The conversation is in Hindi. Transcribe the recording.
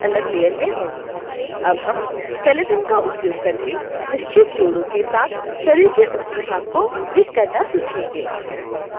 अब हम skeleton का उपयोग करके निश्चित जोड़ों के साथ शरीर के ऊपरी भाग को रिग करना सीखेंगे